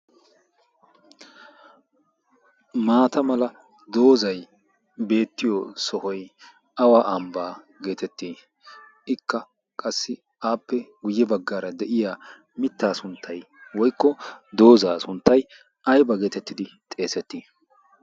maatta mala dozzay beetiyo sohoy awa ambaa geetettii? ikka appe guye bagaara diya dozaa sunttay aybba geetettidi xeesetii?